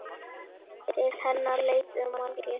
Til hennar leituðu margir.